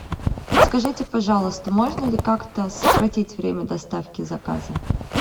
подскажите пожалуйста можно ли как то сократить время доставки заказа